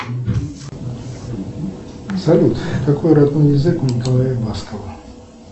салют какой родной язык у николая баскова